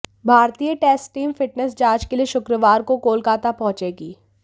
भारतीय test team fitness जांच के लिए शुक्रवार को कोलकाता पहुंचेगी